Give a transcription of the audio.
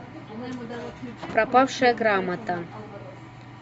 пропавшая грамота